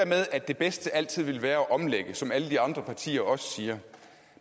med at det bedste altid vil være at omlægge som alle de andre partier også siger